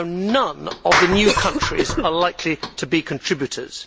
None of the new countries are likely to be contributors.